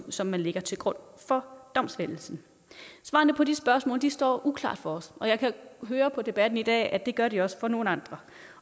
som man lægger til grund for domsfældelsen svarene på de spørgsmål står uklart for os og jeg kan høre på debatten i dag at det gør de også for nogle andre